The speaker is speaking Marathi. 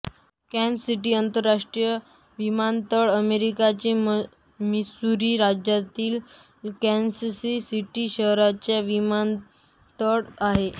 कॅन्सस सिटी आंतरराष्ट्रीय विमानतळ अमेरिकेच्या मिसूरी राज्यातील कॅन्सस सिटी शहराचा विमानतळ आहे